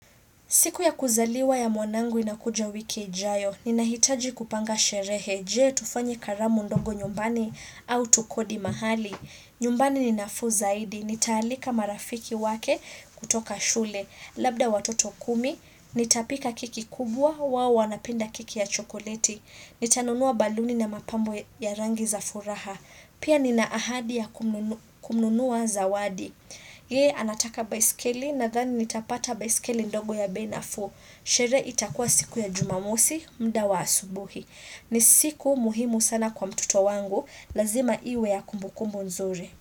Siku ya kuzaliwa ya mwanangu inakuja wiki ijayo. Ninahitaji kupanga sherehe. Je, tufanye karamu ndogo nyumbani au tukodi mahali. Nyumbani ninafuu zaidi. Nitaalika marafiki wake kutoka shule. Labda watoto kumi. Nitapika keki kubwa wao wanapenda keki ya chokoleti. Nitanunua baluni na mapambo ya rangi za furaha. Pia nina ahadi ya kununua zawadi. Yeye anataka baiskeli nadhani nitapata baiskeli ndogo ya bei nafuu Sherehe itakua siku ya jumamosi mda wa asubuhi ni siku muhimu sana kwa mtoto wangu lazima iwe ya kumbukumbu nzuri.